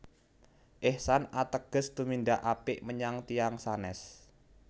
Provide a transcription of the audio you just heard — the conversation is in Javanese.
Ihsan ategese tumindak apik menyat tiyang sanes